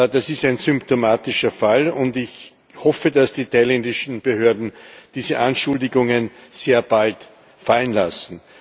Das ist ein symptomatischer Fall, und ich hoffe, dass die thailändischen Behörden diese Anschuldigungen sehr bald fallen lassen.